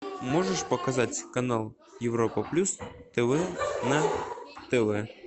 можешь показать канал европа плюс тв на тв